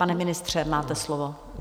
Pane ministře, máte slovo.